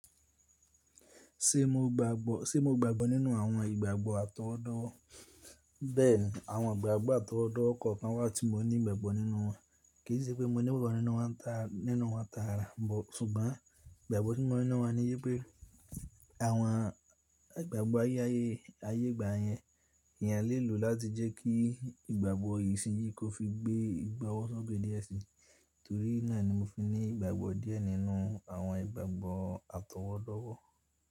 Ṣé mo gbàgbọ́, ṣe mo gbàgbọ́ nínú àwọn ìgbàgbọ́ àtọwọ́dowo? Bẹ́ẹ̀ni, àwọn ìgbàgbọ́ àtọwọ́dọ́wo kọ̀ kan wà tí mo ní ìgbàgbọ́ nínú wọn. Kì í ṣe pé mo ní ìgbàgbọ́ nínú wọn taa, nínú wọn tààra bọ̀. Ṣùgbọ́n ìgbàgbọ́ tí mo ní nínú wọn ni wípé àwọn ìgbàgbọ́ ayé, ayé, ayé ìgbà yẹn, èyàn lè lò láti jẹ́ kí ìgbàgbọ́ yìí ṣí yí kó fi gbé ìgbọ́wọ́sọ́gbè díẹ̀ sí i. Nítorí náà ni mo fi ní ìgbàgbọ́ díẹ̀ nínú àwọn ìgbàgbọ́ àtọwọ́dọ́wọ́.